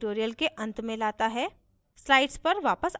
यह हमें इस tutorial के अंत में लाता है